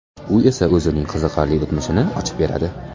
U esa o‘zining qiziqarli o‘tmishini ochib beradi.